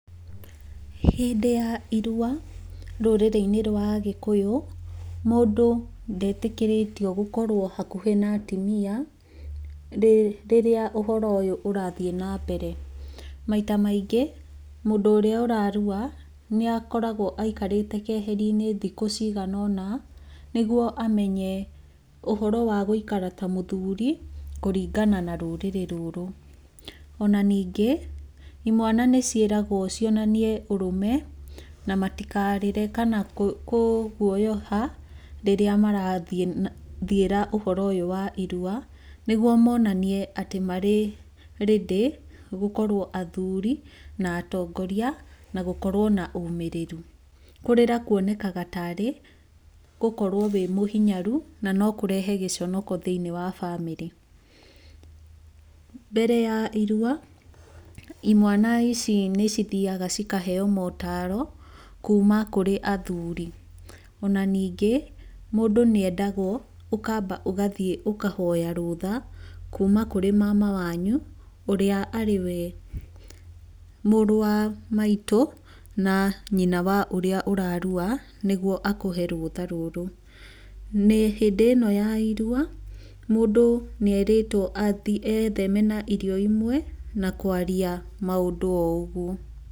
Hĩndĩ ya irua rũrĩrĩ-inĩ rwa agĩkũyũ, mũndũ ndetĩkĩrĩtio gũkorwo hakũhĩ na atimĩa rĩrĩa ũhoro ũyũ ũrathiĩ na mbere. Maita maingĩ mũndũ ũrĩa ũrarua nĩ akoragwo aikarĩte keherinĩ thikũ cigana ũna, nĩguo amenye ũhoro wa gũikara ta mũthuri kũringana na rũrĩrĩ rũrũ. Ona ningĩ, imwana nĩciĩragwo cionanie ũrũme na matikarĩre kana kũguoyoha rĩrĩa marathiĩra ũhoro ũyũ wa irua, nĩguo monanie atĩ marĩ ready gũkorwo athuri na atongoria na gũkorwo na ũmĩrĩru. Kũrĩra kwonekaga ta arĩ, gũkorwo wĩ mũhinyaru na nokũrehe gĩconoko thĩiniĩ wa family. Mbere ya irua, imwana ici nĩcithiaga cikaheyo motaro kuma kũrĩ athuri. Ona ningĩ mũndũ nĩ endagwo ũkamba ũgathiĩ ũkahoya rũtha kuma kũrĩ mama wanyu ũrĩa arĩwe mũrũ wa maitũ na nyina wa ũrĩa ũrarua, nĩguo akũhe rũtha rũrũ. Nĩ, hĩndĩ ĩno ya irua, mũndũ nĩ erĩtwo etheme na irio imwe na kwaria maũndũ o ũguo.